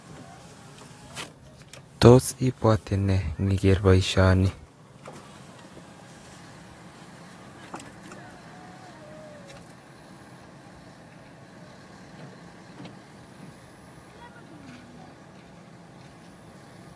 Tos ibwote nee ndiger boisioni?